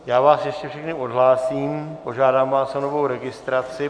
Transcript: Já vás ještě všechny odhlásím, požádám vás o novou registraci.